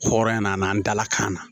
Hɔrɔnya nana an dala kan na